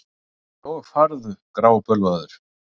Og farðu grábölvaður.